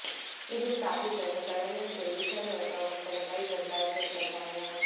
ಇದು ಸ್ಥಾಪಿಸಲು ಸ್ಥಳಗಳನ್ನು ತಿರುಗಿಸಲು ಅಥವಾ ಮಟ್ಟದ ಪೈಪ್ ಬದಲಾಯಿಸಲು ಕಡ್ಡಾಯ